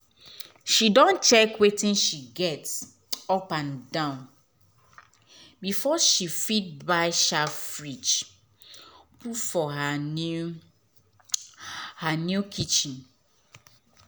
she don check wetin she get upandan before she fit buy sharp fridge put for her new her new kitchen